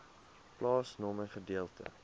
plaasnommer gedeelte